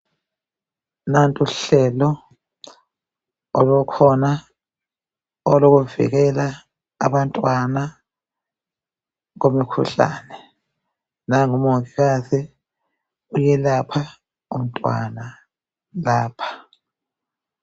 Nantuhlelo olukhona olokuvikela abantwana kumikhuhlane. Nangu umongikazi uyelapha umntwana lapha.